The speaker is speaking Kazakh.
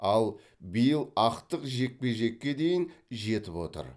ал биыл ақтық жекпе жекке дейін жетіп отыр